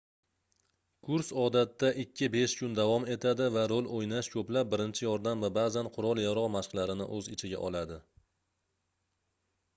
kurs odatda 2-5 kun davom etadi va rol oʻynash koʻplab birinchi yordam va baʼzan qurol-yarogʻ mashqlarini oʻz ichiga oladi